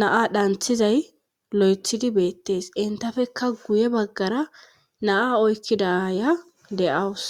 naa dhanthizay lo7ethidi beettees entafekka guye baggara naa oykkidaya de7awus